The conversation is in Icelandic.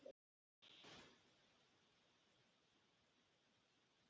Fréttamaður: Voru kaup ríkisins á Glitni eitthvað rædd?